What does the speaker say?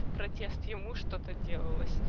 протест ему что-то делалось